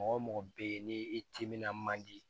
Mɔgɔ mɔgɔ bɛ ye ni i timinan man di